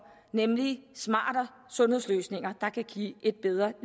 nemlig smarte sundhedsløsninger der kan give et bedre